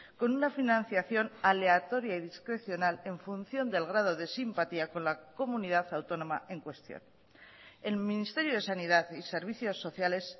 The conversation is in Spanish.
con una financiación aleatoria y discrecional en función del grado de simpatía con la comunidad autónoma en cuestión el ministerio de sanidad y servicios sociales